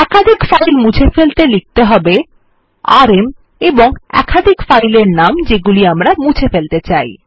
একাধিক ফাইল মুছে ফেলতে লিখতে হবে আরএম এবং একাধিক ফাইল এর নাম যেগুলি আমরা মুছে ফেলতে চাই